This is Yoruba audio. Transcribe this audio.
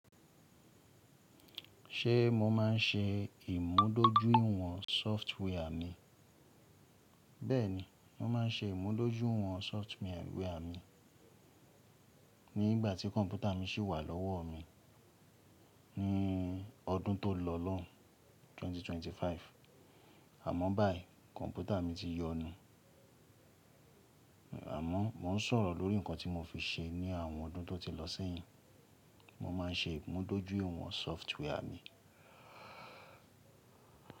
Ṣé mo máa ń ṣe ìmúdójúìwọ̀n software mi? Bẹ́ẹ̀ni, mo máa ń ṣe ìmúdójúìwọ̀n software mi nígbàtí kọ̀mpútà mi sì wà lọ́wọ́ mi ní ọdún tó lọ lọ́un 2025. Àmọ́ báyìí, kọ̀mpútà mi ti yọnu. Àmọ́ mo n sọ̀rọ̀ lórí nǹkan tí mo fi ṣe ní àwọn ọdún tó ti lọ síyìn. Mo máa ń ṣe ìmúdójúìwọ̀n software mi.